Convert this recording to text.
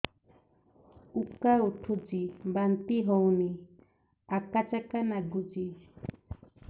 ଉକା ଉଠୁଚି ବାନ୍ତି ହଉନି ଆକାଚାକା ନାଗୁଚି